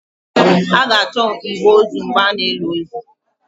A ga-achọ igbe ozu mgbe a na-eli ozu